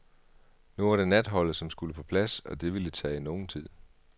Nu var det natholdet som skulle på plads og det ville tage nogen tid.